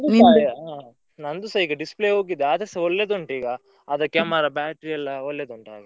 ನಂದುಸ ಈಗ display ಹೋಗಿದೆ ಆದ್ರೆಸ ಒಳ್ಳೆದುಂಟು ಈಗಾ. ಅದ್ camera, battery ಎಲ್ಲಾ ಒಳ್ಳೆದುಂಟು ಹಾಗೆ.